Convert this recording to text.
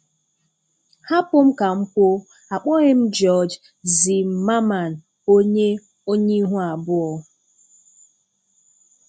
Hapụ m ka m kwuo, akpọghị m George Zimmerman onye onye ihu abụọ.